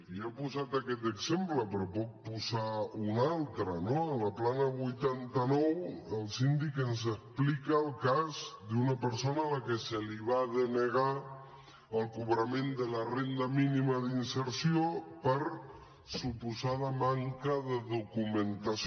jo he posat aquest exemple però en puc posar un altre no a la plana vuitanta nou el síndic ens explica el cas d’una persona a la qual se li va denegar el cobrament de la renda mínima d’inserció per suposada manca de documentació